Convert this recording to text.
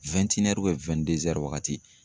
waagati.